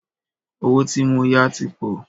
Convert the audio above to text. Owó tí mó yá tí pọ̀.